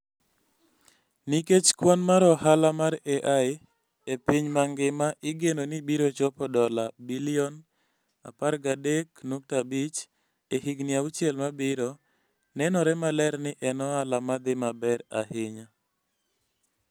Nikech kwan mar ohala mar AI e piny mangima igeno ni biro chopo dola bilion 13.5 e higini auchiel mabiro, nenore maler ni en ohala ma dhi maber ahinya.